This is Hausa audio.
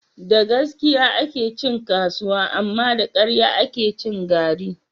Da gaskiya ake cin kasuwa, amma da ƙarya ake cin gari